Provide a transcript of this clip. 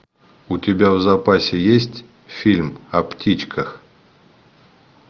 у тебя в запасе есть фильм о птичках